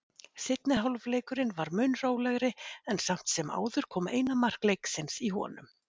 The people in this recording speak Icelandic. Seinni hálfleikurinn var mun rólegri en samt sem áður kom eina mark leiksins í honum.